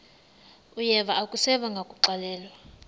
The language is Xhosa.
uyeva akuseva ngakuxelelwa